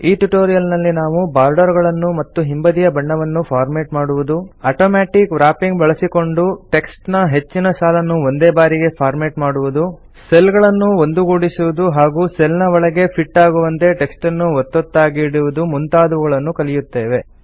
ಈ ಟ್ಯುಟೋರಿಯಲ್ ನಲ್ಲಿ ನಾವು ಬಾರ್ಡರ್ ಗಳನ್ನು ಮತ್ತು ಹಿಂಬದಿಯ ಬಣ್ಣವನ್ನು ಫಾರ್ಮೆಟ್ ಮಾಡುವುದು ಅಟೋಮ್ಯಾಟಿಕ್ ವ್ರಾಪಿಂಗ್ ಬಳಸಿಕೊಂಡು ಟೆಕ್ಸ್ಟ್ ನ ಹೆಚ್ಚಿನ ಸಾಲನ್ನು ಒಂದೇ ಬಾರಿಗೆ ಫಾರ್ಮೆಟ್ ಮಾಡುವುದು ಸೆಲ್ ಗಳನ್ನು ಒಂದುಗೂಡಿಸುವುದು ಹಾಗೂ ಸೆಲ್ ನ ಒಳಗೆ ಫಿಟ್ ಆಗುವಂತೆ ಟೆಕ್ಸ್ಟ್ ನ್ನು ಒತ್ತೊತ್ತಾಗಿ ಇಡುವುದು ಮುಂತಾದವುಗಳನ್ನು ಕಲಿಯುತ್ತೇವೆ